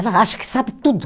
Ela acha que sabe tudo.